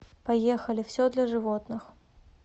поехали все для животных